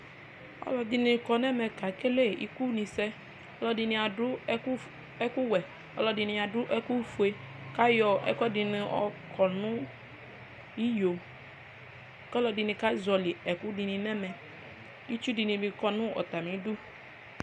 Ɔlɔdini kɔnʋ ɛmɛ kekele ikʋni alɔdini adʋ ɛkʋwʋe ɔlɔdini adʋ ɛkʋfue kʋ ayɔ ɛkʋɛdini yɔkɔnʋ iyo kʋ ɔlɔdini kazɔlɩ ɛkʋni nʋ ɛmɛ kʋ itsu dinickɔnʋ atami ɩdʋ